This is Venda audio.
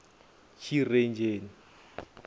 tshirenzheni